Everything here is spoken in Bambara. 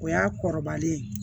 O y'a kɔrɔbalen